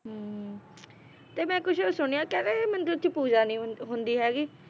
ਹਮ ਤੇ ਮੈ ਕੁਛ ਸੁਣਿਆ ਕਹਿੰਦੇ ਇਹ ਮੰਦਿਰ ਚ ਪੂਜਾ ਨੀ ਹੁੰ~ ਹੁੰਦੀ ਹੈਗੀ